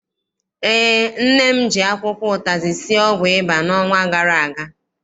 Eé, nne m ji akwụkwọ ụtazị sie ọgwụ ịba n'ọnwa gara aga.